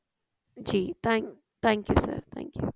ਜੀ thank you sir thankyou